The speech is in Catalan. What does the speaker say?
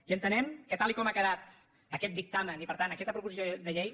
i entenem que tal com ha quedat aquest dictamen i per tant aquesta proposició de llei